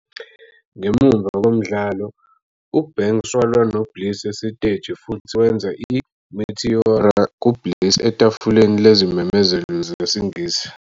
Ngemuva komdlalo, uBanks walwa noBliss esiteji futhi wenza i-"Meteora" ku-Bliss etafuleni lezimemezelo zesiNgisi.